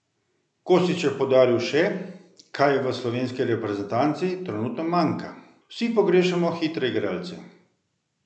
Kostić je poudaril še, kaj v slovenski reprezentanci trenutno manjka: "Vsi pogrešamo hitre igralce.